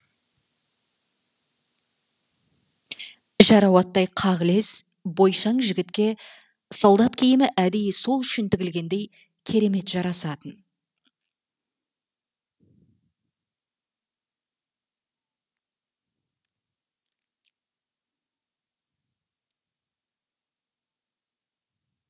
жарау аттай қағылез бойшаң жігітке солдат киімі әдейі сол үшін тігілгендей керемет жарасатын